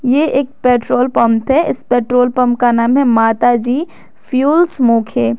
यह एक petrol pump है इस पेट्रोल पंप का नाम है माता जी फ्यूल्स मोखे।